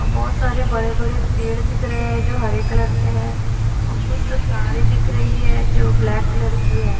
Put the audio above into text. बहोत सारे बड़े-बड़े पेड़ दिख रहे है जो हरे कलर के हैं और कुछ तो तारे दिख रही है जो ब्लैक कलर की है।